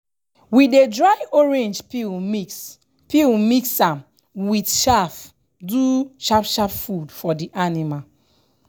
we dey dry orange peel mix peel mix am wit chaff do sharp sharp food for di anima.